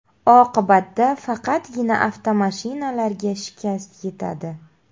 Oqibatda faqatgina avtomashinalarga shikast yetadi.